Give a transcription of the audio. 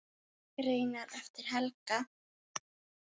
Greinar eftir Helga